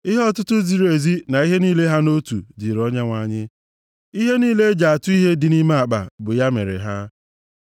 Ihe ọtụtụ ziri ezi na ihe niile ha nʼotu dịrị Onyenwe anyị, ihe niile e ji atụ ihe dị nʼime akpa bụ ya mere ha.